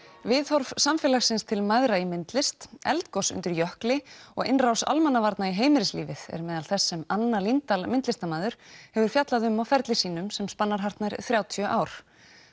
viðhorf samfélagsins til mæðra í myndlist eldgos undir jökli og innrás almannavarna í heimilislífið er meðal þess sem Anna Líndal myndlistarmaður hefur fjallað um á ferli sínum sem spannar hartnær þrjátíu ár